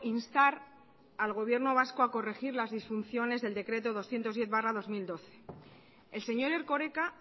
instar al gobierno vasco a corregir las disfunciones del decreto doscientos diez barra dos mil doce el señor erkoreka